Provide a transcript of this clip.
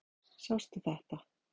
Sástu þetta?